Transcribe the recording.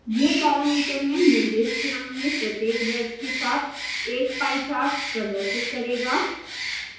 यह पैरामीटर में निर्दिष्ट रंग में प्रत्येक wedge के साथ एक पाई चार्ट प्रदर्शित करेगा